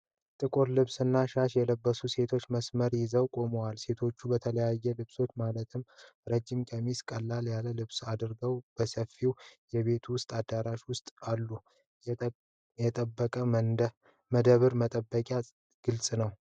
ጥቁር ልብስና ሻሽ የለበሱ ሴቶች መስመር ይዘው ቆመዋል። ሴቶቹ በተለያዩ ልብሶች ማለትም ረጅም ቀሚሶችና ቀለል ያሉ ልብሶች አድርገዋል። በሰፊው የቤት ውስጥ አዳራሽ ውስጥ አሉ። የጠበቀ መደብ መፈጠሩ ግልጽ ነው።